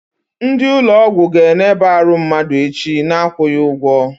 Ndị ụlọ ọgwụ ga eneba arụ mmadụ echi, na akwụghị ụgwọ